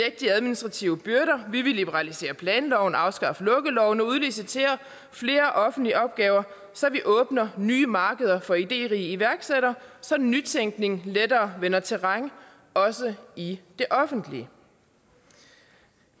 de administrative byrder vi vil liberalisere planloven og afskaffe lukkeloven og udlicitere flere offentlige opgaver så vi åbner nye markeder for idérige iværksættere så nytænkningen lettere vinder terræn også i det offentlige